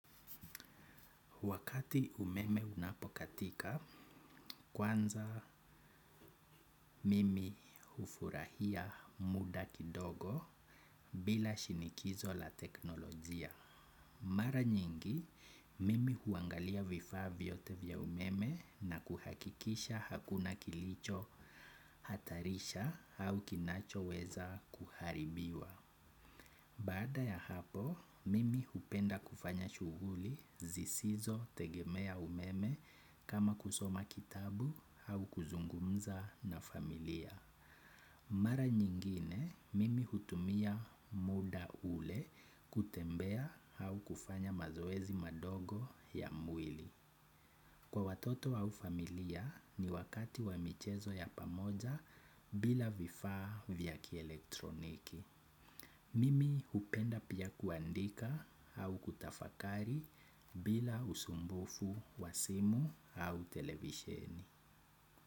Wakati umeme unapokatika, kwanza mimi ufurahia muda kidogo bila shinikizo la teknolojia. Mara nyingi, mimi huangalia vifaa vyote vya umeme na kuhakikisha hakuna kilicho hatarisha au kinachoweza kuharibiwa. Baada ya hapo, mimi hupenda kufanya shughuli zisizotegemea umeme kama kusoma kitabu au kuzungumza na familia. Mara nyingine, mimi hutumia muda ule kutembea au kufanya mazoezi madogo ya mwili. Kwa watoto au familia ni wakati wa michezo ya pamoja bila vifaa vya kielektroniki. Mimi hupenda pia kuandika au kutafakari bila usumbufu wa simu au televisheni.